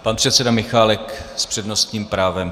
Pan předseda Michálek s přednostním právem.